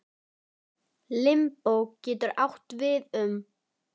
Limbó getur átt við um